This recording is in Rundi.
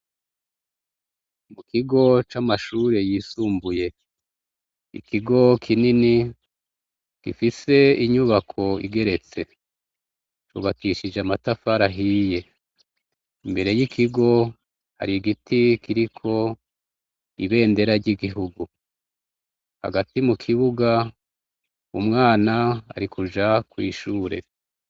Kukigo c'amashuri yisumbuye; n'ikigo kinini gifise inyubako igeretse yubakishije amatafari ahiye. Imbere y'ikigo har'igiti kiriko ibendera ry'Igihugu; hagati mukibuga umwana arikuja kw'ishuri.